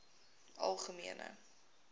algemene